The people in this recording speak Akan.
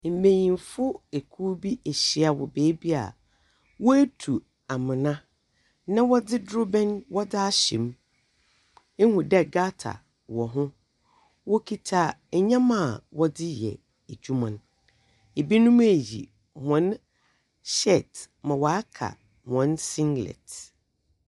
Mbenyinfo ekuw bi ahyia wɔ beebi a woetu amona na wɔdze dorobɛn wɔdze ahyɛ mu. Ihu dɛ gutter wɔ ho. Wɔkita ndɛmba a wɔde reyɛ edwuma no. binom eyi hɔn shirt ma ɔaka hɔn siglet.